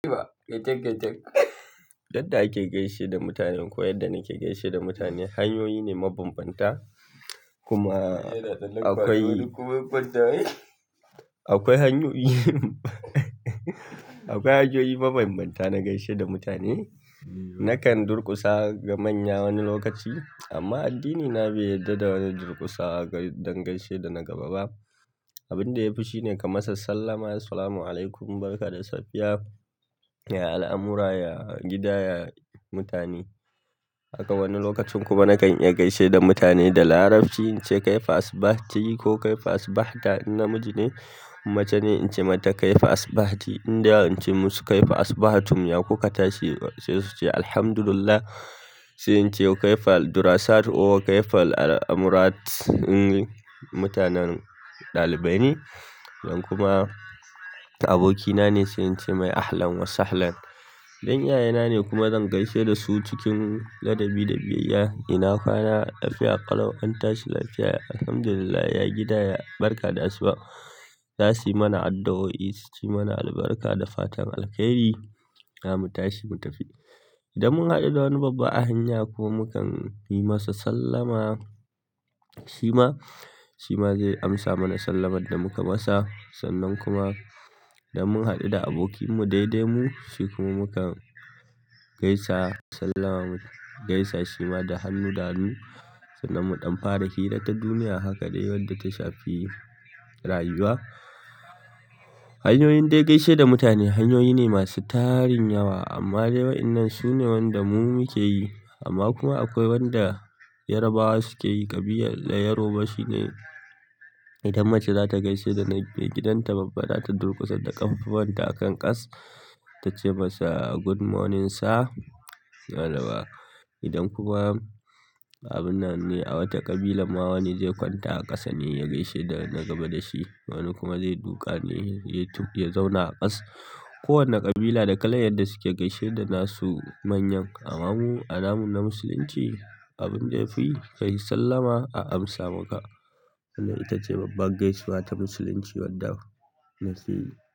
Yadda ake gaisar da mutane ko yadda nake gaisar da mutane hanyoyi ne ma banbanta kuma akwai, akwai hanyoyi akwai hanyoyi mabanbanta na gaishe da mutane. Nakan durƙusa ga manya wani lokaci amma addinina bai yarda da wanan durƙusa don gaishe da na gaba ba. Abin da yafi shine ka masa sallama "Assalamu alaikum, barka da safiya" ya al'amura, ya gida, ya mutani. Akai wani lokacin kuma nakan iya gaishe da mutane da larabci in ce "Kaifa asbahti" ko "Kaifa asbahta" in namiji ne. Mace ne in ce mata "Kaifa asbahti", inda in ce masu "Kaifa asbahtum" ya ko kata shi sai su ce "Alhamdulillah" sai in ce "Wa kaifal durasat" or "Wa kaifal al'amurat" in mutanen ɗalibai ne. Idan kuma abokina ne sai in ce mai "Ahlan wa sahlan." Idan iyayena ne kuma zan gaishe da su cikin ladabi da biyayya. Ina kwana? Lafiya ƙalau, an tashi lafiya? Alhamdulillah, ya gida, ya barka da asuba. Za su yi mana addu'o'i, su yi mana albarka da fatan alheri. Za mu tashi mu tafi. Idan mun haɗu da wani babba a hanya kuma kan yi masa sallama, shi ma, shi ma zai amsa mana sallamar da muka masa. Sannan kuma da mun haɗu da abokinmu daidai mu, shi kuma mu kan gaisa sallama, gaisa shi ma da hannu da hannu sannan mu ɗan fara hira ta duniya haka dai wadda ta shafi rayuwa. Hanyoyin da ake gaishe da mutane hanyoyi ne masu tarin yawa amma dai wa'innan su ne wanda mu muke yi. Amma kuma akwai wanda Yarabawa suke yi. Kabilar yoruba shine idan mace za ta gaishe da na gidan ta babba za ta durƙusa da ƙafafunta a kan ƙas ta ce masa "Good morning sir" wane ba. Idan kuma abin nan ne a wata ƙabila ma wani zai kwanta a ƙasa ne ya gaishe da na gaba da shi, wani kuma zai duka ne ya zauna a ƙasa. Ko wanne ƙabila da kalar yadda suke gaishe da nasu manyan. Amma mu a namu na musulinci abinda yafi kai sallama a amsa maka itace babbar gaisuwa ta musulinci.